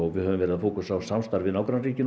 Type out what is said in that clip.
við höfum verið að fókusera á samstarf við nágrannaríkin